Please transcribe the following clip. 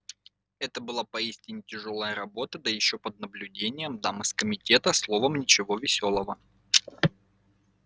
это была поистине тяжёлая работа да ещё под наблюдением дам из комитета словом ничего весёлого